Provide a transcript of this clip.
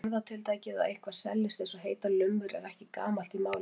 Orðatiltækið að eitthvað seljist eins og heitar lummur er ekki gamalt í málinu.